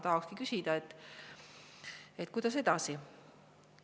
Tahakski küsida: kuidas edasi?